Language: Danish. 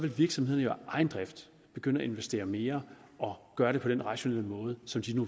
at virksomhederne af egen drift begynde at investere mere og gøre det på den rationelle måde som de